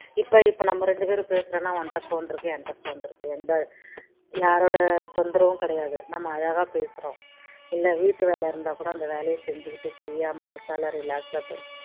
இப்போ இப்போ நம்ம இரண்டு பேரு பேசுறோம்னா உன்கிட்ட phone இருக்கு என் கிட்ட phone இருக்கு எந்த யாரோட தொந்தரவும் கிடையாது நம்ம அழகா பேசுறோம் இல்ல வீட்டு வேலை இருந்தா கூட அந்த வேலைய செஞ்சிக்கிட்டு free யா மனசால relax சா பேசுறோம்